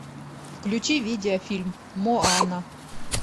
включи видеофильм моана